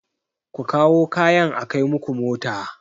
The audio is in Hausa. Ku kawo kayan a kai muku mota!